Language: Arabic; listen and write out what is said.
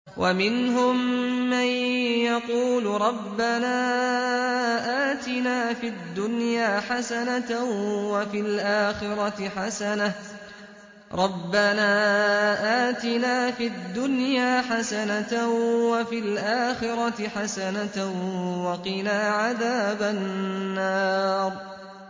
وَمِنْهُم مَّن يَقُولُ رَبَّنَا آتِنَا فِي الدُّنْيَا حَسَنَةً وَفِي الْآخِرَةِ حَسَنَةً وَقِنَا عَذَابَ النَّارِ